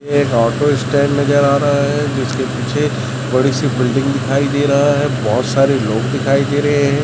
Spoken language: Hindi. एक ऑटो स्टैंड नजर आ रहा है जिसके पीछे बड़ी सी बिल्डिंग दिखाई दे रहा है बहुत सारे लोग दिखाई दे रहे हैं।